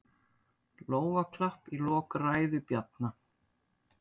Lófaklapp í lok ræðu Bjarna